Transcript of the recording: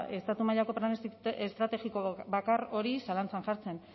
estatu mailako plan estrategiko bakar hori zalantzan jartzen